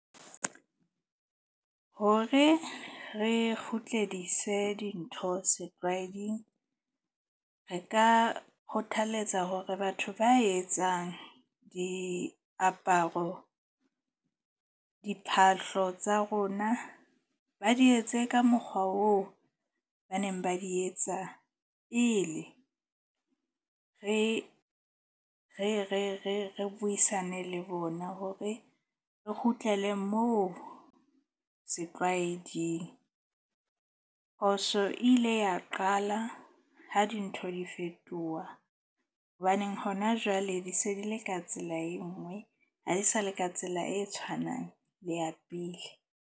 Hore re kgutledise dintho setlwaeding, re ka kgothaletsa hore batho ba etsang diaparo. Diphahlo tsa rona ba di etse ka mokgwa oo ba neng ba di etsa pele re buisane le bona hore re kgutlele moo setlwaeding. Phoso e ile ya qala ha dintho di fetoha. Hobaneng hona jwale di se di le ka tsela e nngwe. Ha di sa le ka tsela e tshwanang le ya pele.